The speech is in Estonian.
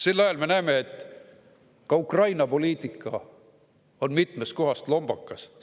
Sel ajal me näeme, et ka Ukraina poliitika on mitmest kohast lombakas.